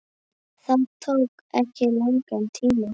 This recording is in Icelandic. Það tók ekki langan tíma.